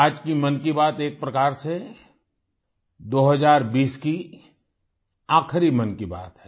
आज की मन की बात एक प्रकार से 2020 की आख़िरी मन की बात है